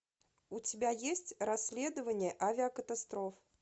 у тебя есть расследование авиакатастроф